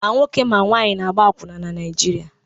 Ma nwoke ma nwaanyị na-agba akwụna na Naịjirịa.